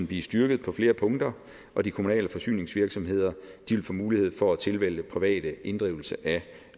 blive styrket på flere punkter og de kommunale forsyningsvirksomheder vil få mulighed for at tilvælge privat inddrivelse af